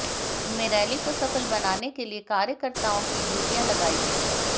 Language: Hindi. इनमें रैली को सफल बनाने के लिए कार्यकत्र्ताओं की ड्युटियां लगाई गई